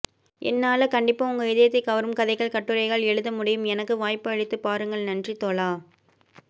என்னால கண்டிப்பா உங்க இதயத்தை கவரும் கதைகள் கட்டுரைகள் எழுத முடியும் எனக்கு வாய்ப்பு அளித்து பாருங்கள் நன்றி தோழா